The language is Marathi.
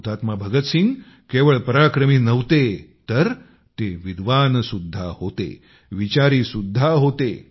शहीद भगतसिंग केवळ पराक्रमी नव्हते तर ते विद्वान सुद्धा होते विचारी सुद्धा होते